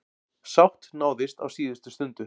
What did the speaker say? Sátt náðist á síðustu stundu.